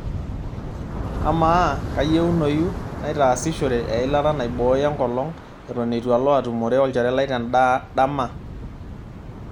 amaa kaayieunoyu naitaasishore eilata naibooyo engolong' eton eitu alo atumore olchore lai tendaa ndama